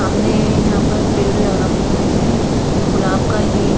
सामने यहां पर पेड़ ल रखे हुए हैं गुलाब का ही--